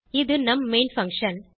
இது நம் main function